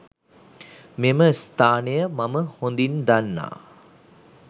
මෙම ස්ථානය මම හොදින් දන්නා